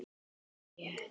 Mjög þétt.